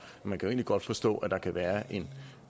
man kan jo egentlig godt forstå at der kan være en